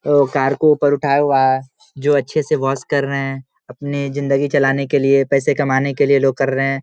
वो कार को ऊपर उठाया हुआ है जो अच्छे से वाश कर रहे है अपने ज़िन्दगी चलने के लिए पैसे कमाने के लिए लोग कर रहे है ।